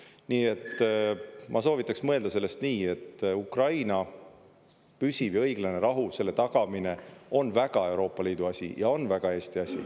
Nii et ma soovitaks mõelda sellest nii, et Ukraina püsiv ja õiglane rahu, selle tagamine on väga Euroopa Liidu asi ja on väga Eesti asi.